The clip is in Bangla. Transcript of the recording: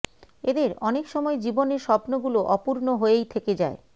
এদের অনেক সময় জীবনের স্বপ্নগুলো অপূর্ণ হয়েই থেকে যায়